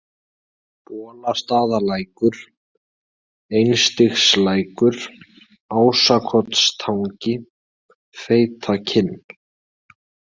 Bolastaðalækur, Einstigslækur, Ásakotstangi, Feitakinn